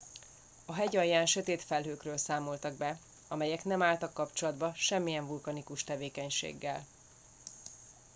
a hegy alján sötét felhőkről számoltak be amelyek nem álltak kapcsolatba semmilyen vulkanikus tevékenységgel